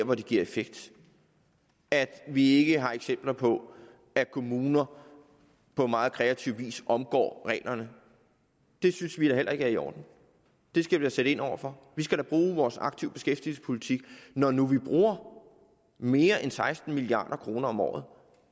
hvor det giver effekt at vi ikke har eksempler på at kommuner på meget kreativ vis omgår reglerne det synes vi da heller ikke er i orden og det skal vi sætte ind over for vi skal bruge vores aktive beskæftigelsespolitik når nu vi bruger mere end seksten milliard kroner om året